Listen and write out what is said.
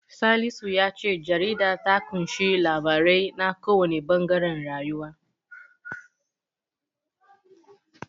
Salisu ya ce jaridar ta ƙunshi labarai na kowanne ɓangaren rayuwa.